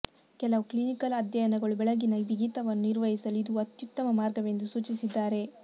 ಕೆಲವು ಕ್ಲಿನಿಕಲ್ ಅಧ್ಯಯನಗಳು ಬೆಳಗಿನ ಬಿಗಿತವನ್ನು ನಿರ್ವಹಿಸಲು ಇದು ಅತ್ಯುತ್ತಮ ಮಾರ್ಗವೆಂದು ಸೂಚಿಸಿದ್ದಾರೆ